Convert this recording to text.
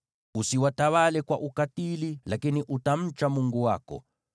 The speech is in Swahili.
Usiwatawale kwa ukatili, lakini utamcha Mungu wako.